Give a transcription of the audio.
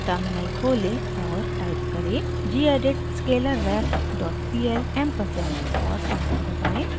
terminal खोलें और type करें: gedit scalarref dot pl ampersand और एंटर दबाएं